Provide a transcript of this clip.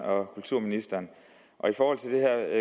og kulturministeren